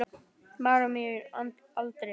Maður á miðjum aldri.